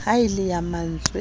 haellang ya ma ntswe a